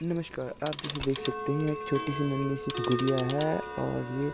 नमस्कार आप जैसे देख सकते हैं एक छोटीसी नन्ही सी गुड़िया हैं और ये--